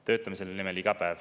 Töötame selle nimel iga päev.